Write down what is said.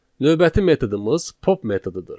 Növbəti metodumuz pop metodudur.